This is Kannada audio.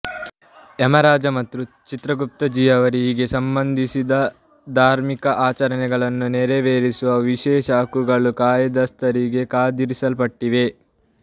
ಯಮರಾಜ ಮತ್ತು ಚಿತ್ರಗುಪ್ತಜಿಯವರಿಗೆ ಸಂಬಂಧಿಸಿದ ಧಾರ್ಮಿಕ ಆಚರಣೆಗಳನ್ನು ನೆರವೇರಿಸುವ ವಿಶೇಷಹಕ್ಕುಗಳು ಕಾಯಸ್ಥರಿಂದ ಕಾದಿರಿಸಲ್ಪಟ್ಟಿವೆ